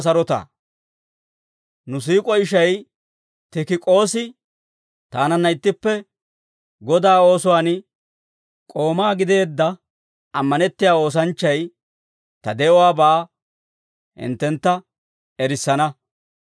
Nu siik'o ishay Tikik'oosi, taananna ittippe Godaa oosuwaan k'oomaa gideedda ammanettiyaa oosanchchay, ta de'uwaabaa hinttentta erissana.